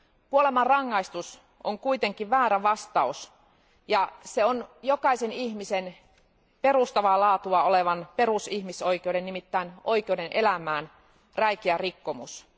Kuolemanrangaistus on kuitenkin väärä vastaus ja se on jokaisen ihmisen perustavaa laatua olevan perusihmisoikeuden, nimittäin oikeuden elämään, räikeä rikkomus.